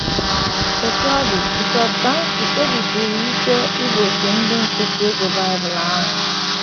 Otú ọ dị, Bishọp Kamsi kpebisiri ike igbochi ndị nkịtị ịgụ Bible ahụ.